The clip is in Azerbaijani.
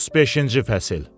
35-ci fəsil.